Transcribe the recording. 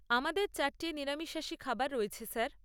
আমাদের চারটে নিরামিষাশী খাবার রয়েছে স্যার।